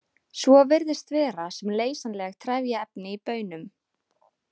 Svo virðist vera sem leysanleg trefjaefni í baunum.